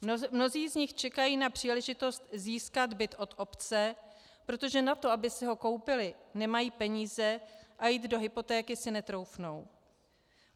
Mnozí z nich čekají na příležitost získat byt od obce, protože na to, aby si ho koupili, nemají peníze a jít do hypotéky si netroufnou.